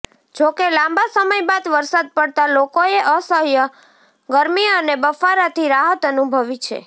જો કે લાંબા સમય બાદ વરસાદ પડતાં લોકોએ અસહય ગરમી અને બફારાથી રાહત અનુભવી છે